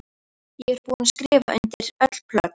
Ég er búin að skrifa undir öll plögg.